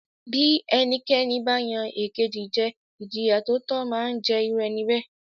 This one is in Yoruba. Bí ẹnikẹ́ni ba yan ekeji jẹ Ìjìyà tó tó máa ń jẹ irú ẹni bẹ́ẹ̀